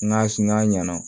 N ka n'a ɲɛna